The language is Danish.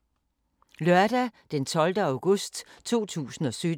Lørdag d. 12. august 2017